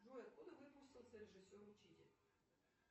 джой откуда выпустился режиссер учитель